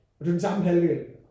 Og det var den samme halvdel